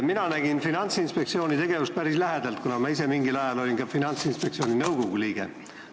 Mina olen Finantsinspektsiooni tegevust päris lähedalt näinud, kuna ma ise mingil ajal olin ka Finantsinspektsiooni nõukogu liige.